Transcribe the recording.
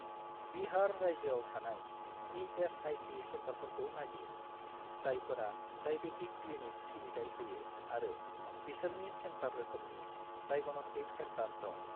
बिहार रायजोआव थानाय इ.एस.आइ.सि. सेन्टारफोरखौ नागिर, जायफोरा डायेबेटिक क्लिनिक सिबिथाय होयो आरो बिसोरनि सेन्टार रोखोमनि डाइग'नस्टिक सेन्टार दं।